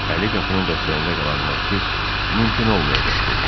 Əli qapının dəstəyində qalan Markiz mümkün olmayacaq dedi.